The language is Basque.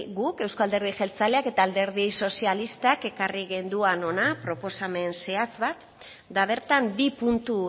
guk euzko alderdi jeltzaleak eta alderdi sozialistak ekarri genuen hona proposamen zehatz bat eta bertan bi puntu